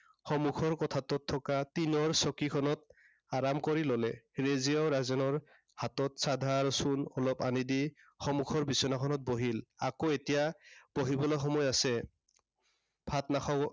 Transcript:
সন্মুখৰ কোঠাটোত থকা টিনৰ চকীখনত আৰাম কৰি ললে। ৰেজিয়াও ৰাজেনৰ হাতত চাধা আৰু চূণ অলপ আনি দি সন্মুখৰ বিছনাখনত বহিল। আকৌ এতিয়া বহিবলে সময় আছে, ভাত নাখাৱ?